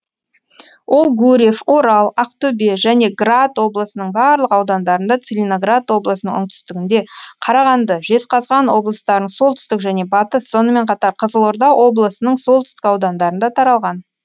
ол гурьев орал ақтөбе және град облысының барлық аудандарында целиноград облысының оңтүстігінде қарағанды жезқазған облыстарының солтүстік және батыс сонымен қатар қызылорда облысының солтүстік аудандарында таралған